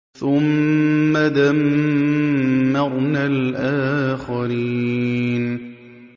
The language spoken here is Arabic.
ثُمَّ دَمَّرْنَا الْآخَرِينَ